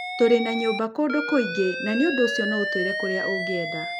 Tũrĩ na nyũmba kũndũ kũingĩ, na nĩ ũndũ ũcio no ũtwĩre kĩrĩa ũngĩenda.